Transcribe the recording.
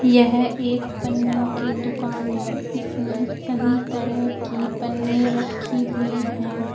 यह एक पन्नियों की दुकान है इसमें सभी तरह की पन्नी रखी हुई हैं।